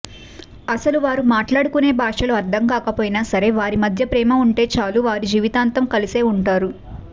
అసలు వారు మాట్టాడుకునే భాషలు అర్ధంకాకపోయినా సరే వారి మధ్య ప్రేమ ఉంటే చాలు వారు జీవితాంతం కలసే ఉంటారు